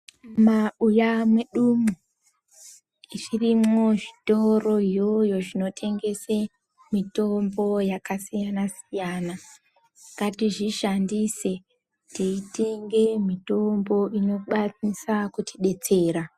Mumabuya mwedumwo, zvirimo zvitoro izvozvo zvinotengese mitombo yakasiyana-siyana ngatizvishandise teitenge mitombo inokwanisa kutidetsera.